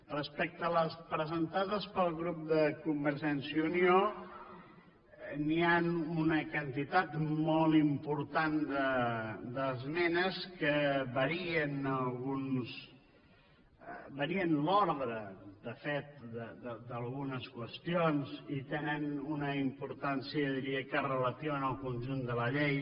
respecte a les presentades pel grup de convergència i unió hi ha una quantitat molt important d’esmenes que varien l’ordre de fet d’algunes qüestions i tenen una importància jo diria que relativa en el conjunt de la llei